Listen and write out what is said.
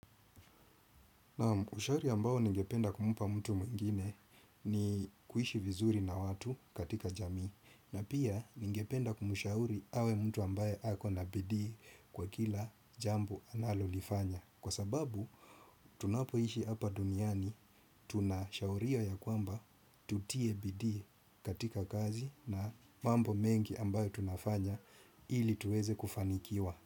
Ushauri ambao ningependa kumpa mtu mwingine ni kuishi vizuri na watu katika jamii na pia ningependa kumshauri awe mtu ambaye ako na bidii kwa kila jambo analo lifanya. Kwa sababu tunapoishi hapa duniani tunashauri ya kwamba tutie bidii katika kazi na mambo mengi ambayo tunafanya ili tuweze kufanikiwa.